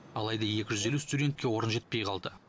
алайда екі жүз елу студентке орын жетпей қалды